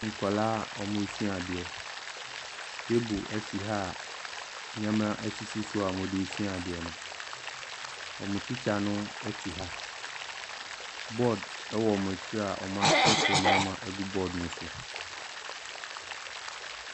Nkwadaa a wɔresua adeɛ. Table si ha a nneɛma sisi so a wɔde resua adeɛ no. wɔn tikya no te ha. Board wɔ wɔn akyi a wɔatwerɛtwerɛ nneɛma agu board no so.